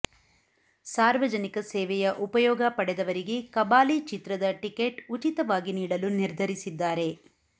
ಸಾರ್ವಜನಿಕ ಸೇವೆಯ ಉಪಯೋಗ ಪಡೆದವರಿಗೆ ಕಬಾಲಿ ಚಿತ್ರದ ಟಿಕೆಟ್ ಉಚಿತವಾಗಿ ನೀಡಲು ನಿರ್ಧರಿಸಿದ್ದಾರೆ